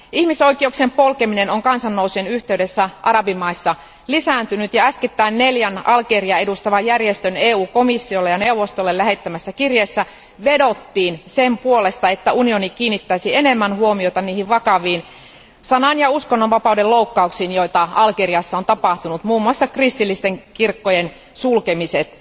Ihmisoikeuksien polkeminen on kansannousujen yhteydessä arabimaissa lisääntynyt ja äskettäin neljän Algeriaa edustavan järjestön komissiolle ja neuvostolle lähettämässä kirjeessä vedottiin sen puolesta, että unioni kiinnittäisi enemmän huomiota niihin vakaviin sanan ja uskonnonvapauden loukkauksiin, joita Algeriassa on tapahtunut, muun muassa kristillisten kirkkojen sulkemiset.